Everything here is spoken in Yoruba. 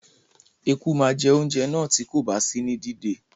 Eku má je ounjẹ náà ti kòba sí ní dídé